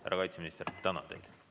Härra kaitseminister, tänan teid!